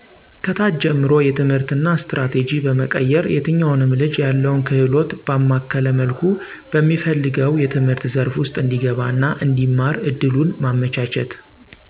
ከታች ጀምሮ የትምህርትና ስትራቴጂ በመቀየር የትኛውንም ልጅ ያለውን ክህሎት ባማከለ መልኩ በሚፈልገው የትምህርት ዘርፍ ውስጥ እንዲገባና እንዲማር እድሉን በማመቻቸት